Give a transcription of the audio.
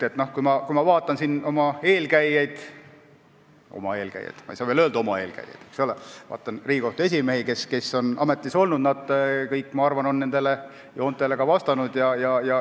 Kui ma vaatan siin oma eelkäijaid – ehkki ma ei saa veel öelda "oma eelkäijad" –, Riigikohtu esimehi, kes on ametis olnud, siis nad kõik on minu arvates nendele omadustele vastanud.